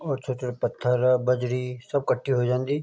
और छोट-छोट पत्थर बजरी सब कठे हो जांदी।